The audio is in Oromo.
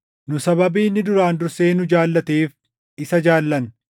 Nu sababii inni duraan dursee nu jaallateef isa jaallanna.